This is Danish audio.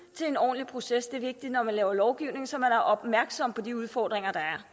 til en ordentlig proces det er vigtigt når man laver lovgivning så man er opmærksom på de udfordringer der er